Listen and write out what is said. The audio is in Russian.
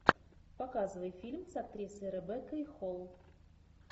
показывай фильм с актрисой ребеккой холл